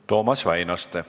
Toomas Väinaste.